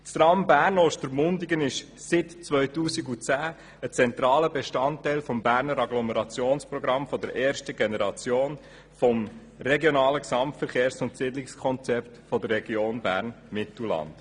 Das Tram Bern–Ostermundigen ist seit 2010 ein zentraler Bestandteil des Berner Agglomerationsprogramms der ersten Generation des regionalen Gesamtverkehrs- und Siedlungskonzepts der Region Bern-Mittelland.